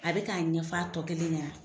A bɛ ka ɲɛfɔ a tɔ kelen ɲɛnan.